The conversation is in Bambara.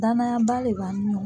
Danayaba le b'an ni ɲɔgɔn